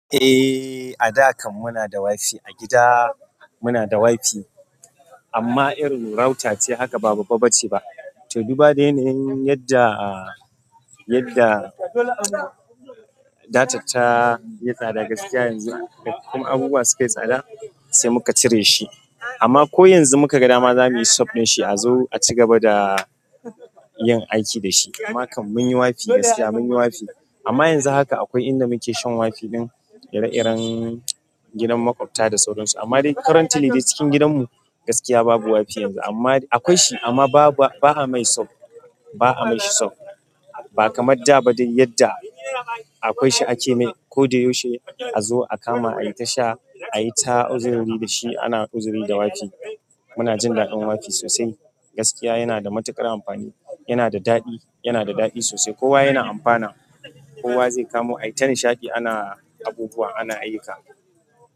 Eh, a da kam muna da wifi a gida. Muna da wifi amma irin router ce haka ba babba ba ce ba. To, dubu da yanayin yadda, yadda data ta yi tsada gaskiya yanzu. Da kuma abubuwa suka yi tsada sai muka cire shi. Amma ko yanzu muka ga dama za muyi sub ɗin shi a zo a cigaba da yin aiki da shi. Amma kam mun yi wifi gaskiya mun yi wifi. Amma yanzu haka akwai inda muke shan wifi ɗin ire-iren gidan maƙwabta da sauran su. Amma dai currently dai jikin gidan mu gaskiya babu wifi yanzu. Amma akwai shi amma ba a mai sub. Ba a ma shi sub. Ba kamar da ba dai yadda akwai shi a ke mai. Ko da yaushe a zo a kama ayi tasha ayi ta uzuri da shi ana uzuri da wifi. Muna jin daɗin wifi sosai. Gaskiya yana da matuƙar amfani. Yana da daɗi, yana da daɗi sosai. Kowa yana amfana. Kowa zai kamo aita nishaɗi ana abubuwa ana ayyuka.